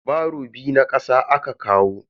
Baro biyu na kasa aka kawo.